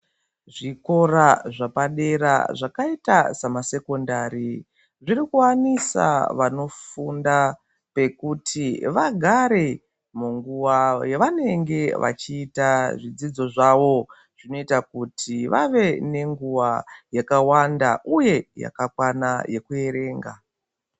Zvikora zvapadera zvakaita samasekondari, zviri kuwanisa vanofunda pekuti vagare munguva yavanenge vachiita zvidzidzo zvavo. Zvinoita kuti vave nenguva yakawanda ,uye yakakwana yekuerenga.